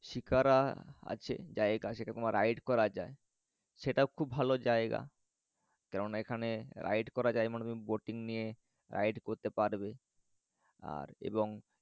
শিকারা আছে জায়গা সেরকম ride করা যায়। সেটাও খুব ভালো জায়গা। কেননা এখানে ride করা যায় মানে boating নিয়ে ride করতে পারবে। আর এবং